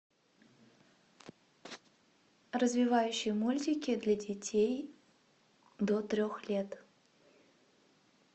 развивающие мультики для детей до трех лет